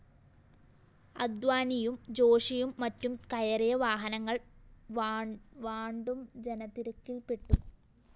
അദ്വാനിയും ജോഷിയും മറ്റും കയറിയ വാഹനങ്ങള്‍ വാണ്ടും ജനതിരക്കില്‍ പെട്ടു